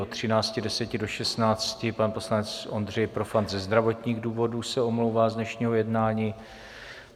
Od 13.10 do 16 pan poslanec Ondřej Profant ze zdravotních důvodů se omlouvá z dnešního jednání.